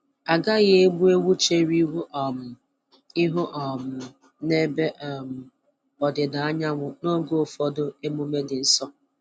Agaghị egbu ewu chere ihu um ihu um n'ebe um ọdịda anyanwụ n'oge ụfọdụ emume dị nsọ.